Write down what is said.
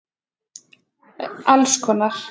Alls konar.